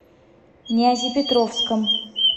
нязепетровском